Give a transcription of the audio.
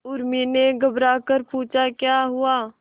उर्मी ने घबराकर पूछा क्या हुआ